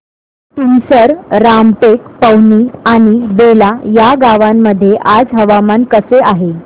तुमसर रामटेक पवनी आणि बेला या गावांमध्ये आज हवामान कसे आहे